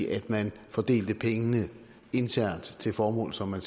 at man fordelte pengene internt til formål som man